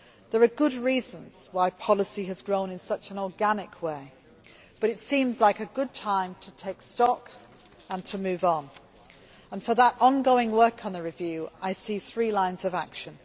There are good reasons why policy has grown in such an organic way, but it seems like a good time to take stock and to move on and, for that ongoing work on the review, I see three lines of action.